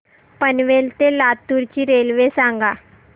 पनवेल ते लातूर ची रेल्वे सांगा